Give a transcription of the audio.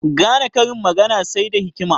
Gane karin magana sai da hikima